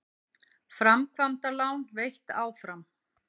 Framkvæmdalán veitt áfram